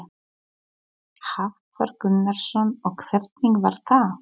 Hafþór Gunnarsson: Og hvernig var það?